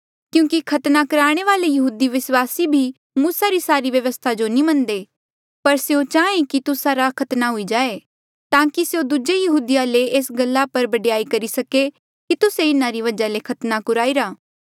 क्यूंकि खतना कुराणे वाले यहूदी विस्वासी भी मूसा री सारी व्यवस्था जो नी मनदे पर स्यों चाहें कि तुस्सा रा खतना हुई जाये ताकि स्यों दूजे यहूदिया ले एस गल्ला पर बडयाई करी सके कि तुस्से इन्हारी वजहा ले खतना कुराईरा